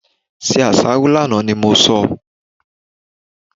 Se àsáró lánàá ni mo sọ!